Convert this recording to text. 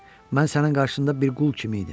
Mən sənin qarşında bir qul kimi idim.